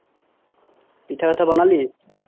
পিঠা ওঠা বনালি